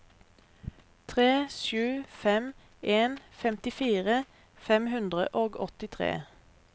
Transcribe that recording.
tre sju fem en femtifire fem hundre og åttitre